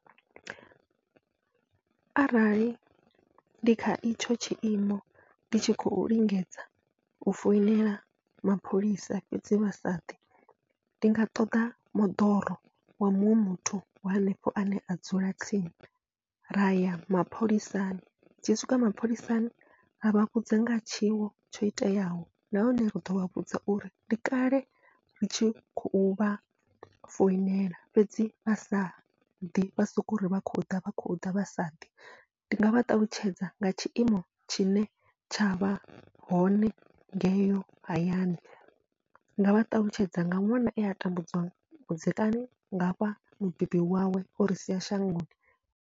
Arali ndi kha itsho tshiimo ndi tshi khou lingedza u foinela mapholisa fhedzi vha sa ḓi, ndi nga ṱoḓa moḓoro wa muṅwe muthu wa hanefho ane a dzula tsini raya mapholisani, tshi swika mapholisani avha vhudza ngaha tshiwo tsho iteaho nahone ri ḓovha vhudza uri ndi kale ri tshi khou vha foinela fhedzi vha sa ḓi vha soko ri vha khou ḓa vha khou ḓa vhasa ḓi. Ndi nga vha ṱalutshedza nga tshiimo tshine tsha vha hone ngeyo hayani, nga vha ṱalutshedza nga ṅwana ea a tambudziwa vhudzekani ngafha mubebi wawe ori sia shangoni.